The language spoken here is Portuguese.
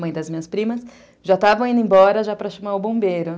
mãe das minhas primas, já estavam indo embora já para chamar o bombeiro.